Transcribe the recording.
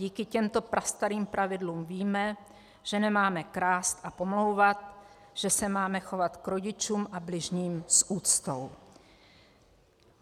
Díky těmto prastarým pravidlům víme, že nemáme krást a pomlouvat, že se máme chovat k rodičům a bližním s úctou.